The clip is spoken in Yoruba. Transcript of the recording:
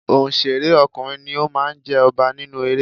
Onsere ọkùnrin ni ó máa ń jẹ ọba nínú eré.